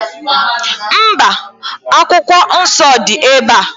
Mba, Akwụkwọ Nsọ dị ebe a.